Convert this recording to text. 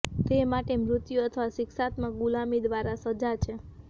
તે માટે મૃત્યુ અથવા શિક્ષાત્મક ગુલામી દ્વારા સજા છે